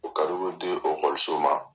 O bɛ di okɔliso ma.